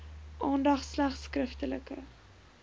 aandag slegs skriftelike